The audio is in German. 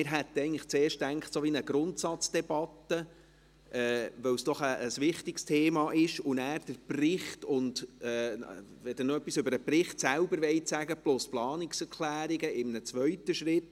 Wir hätten uns zuerst so etwas wie eine Grundsatzdebatte vorgestellt, da es doch ein wichtiges Thema ist, und wenn Sie nachher etwas über den Bericht selber plus über die Planungserklärungen sagen möchten, käme dies in einem zweiten Schritt.